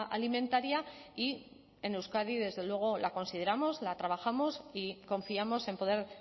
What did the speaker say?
alimentaria y en euskadi desde luego la consideramos la trabajamos y confiamos en poder